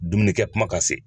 Dumunikɛ kuma ka se